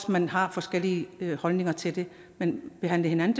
man har forskellige holdninger til det men behandle hinanden